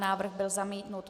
Návrh byl zamítnut.